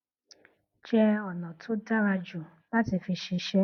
jẹ ònà tó dára jù láti fi ṣiṣẹ